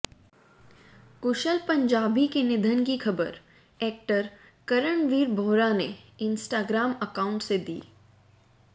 कुशल पंजाबी के निधन की खबर एक्टर करणवीर बोहरा ने इंस्टाग्राम अकाउंट से दी